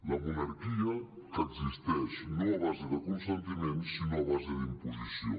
la monarquia que existeix no a base de consentiment sinó a base d’imposició